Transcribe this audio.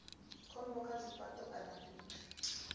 khombo kha zwifhato kana fhethu